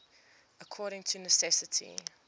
according to necessity